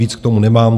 Víc k tomu nemám.